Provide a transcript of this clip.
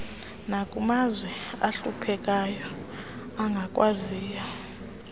nakumazwe ahluphekayo angakwaziyo